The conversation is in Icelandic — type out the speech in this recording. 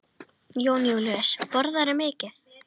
Jón Júlíus: Borðarðu mikið?